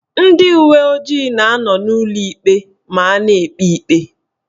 Ndị uweojii na anọ n'ụlọikpe ma a na-ekpe ikpe.